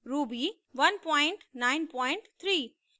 ruby 193